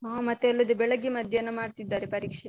ಹಾ ಮತ್ತೆ ಅಲ್ಲದೆ ಬೆಳಗ್ಗೆ ಮಧ್ಯಾಹ್ನ ಮಾಡ್ತಿದ್ದಾರೆ ಪರೀಕ್ಷೆ.